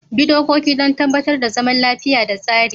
Bi dokoki don tabbatar da zaman lafiya da tsari.